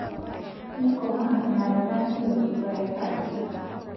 Neikomaa inakata neiteru ilpayek aajing'.